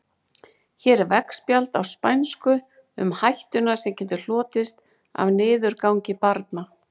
Hér er veggspjald á spænsku um hættuna sem getur hlotist af niðurgangi barna.